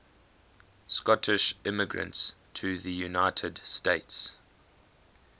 scottish immigrants to the united states